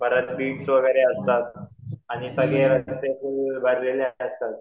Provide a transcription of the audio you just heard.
कारण वगैरे असतात आणि